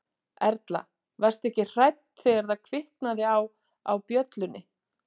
Erla: Varstu hrædd þegar það kviknaði á, á bjöllunni?